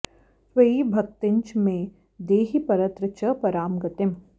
त्वयि भक्तिञ्च मे देहि परत्र च परां गतिम्